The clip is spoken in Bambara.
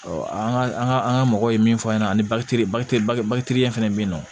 an ka an ka an ka mɔgɔw ye min fɔ an ɲɛna aniɲɛ fɛn fɛn bɛ yen nɔ